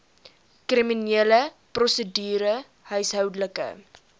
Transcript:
kriminele prosedure huishoudelike